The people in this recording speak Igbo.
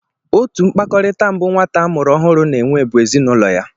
Otu mkpakọrịta mbụ nwata a mụrụ ọhụụ na-enwe bụ ezinụlọ ya